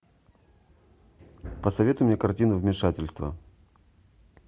посоветуй мне картину вмешательство